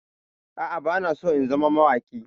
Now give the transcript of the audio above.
A'a, bana so in zama mawaƙi.